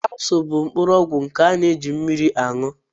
Kapsul bụ mkpụrụ ọgwụ nke a na-eji mmiri añụ